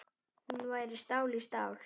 Hún væri stál í stál.